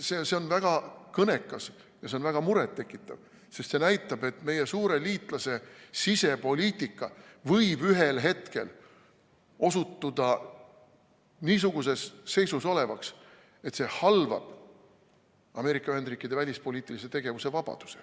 See on väga kõnekas ja see on väga muret tekitav, sest see näitab, et meie suure liitlase sisepoliitika võib ühel hetkel osutuda niisuguses seisus olevaks, et see halvab Ameerika Ühendriikide välispoliitilise tegevuse vabaduse.